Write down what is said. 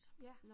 Ja